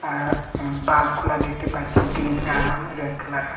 আর bulb -গুলা দেখতে পাচ্ছি গ্ৰিন আরও রেড কালার -ও।